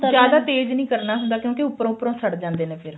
ਜਿਆਦਾ ਤੇਜ ਨਹੀਂ ਕਰਨਾ ਹੁੰਦਾ ਕਿਉਂਕਿ ਉੱਪਰੋਂ ਉੱਪਰੋਂ ਸੜ ਜਾਂਦੇ ਨੇ